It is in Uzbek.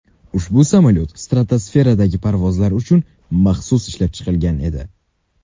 Ushbu samolyot stratosferadagi parvozlar uchun maxsus ishlab chiqilgan edi.